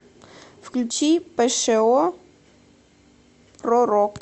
включи пшо пророк